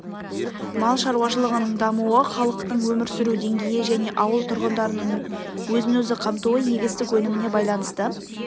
мал шаруашылығының дамуы халықтың өмір сүру деңгейі және ауыл тұрғындарының өзін-өзі қамтуы егістік өніміне байланысты